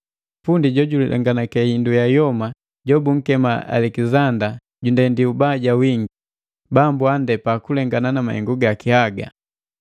Pundi jojulenganake hindu ya yoma jobunkema Alekizanda jundendi ubaja wingi; Bambu andepa kulengana na mahengu gaki haga.